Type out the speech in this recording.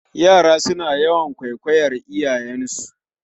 Yara suna yawan kwaikwayar iyayensu